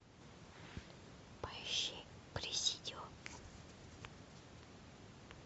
поищи президио